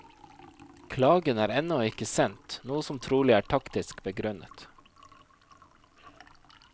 Klagen er ennå ikke sendt, noe som trolig er taktisk begrunnet.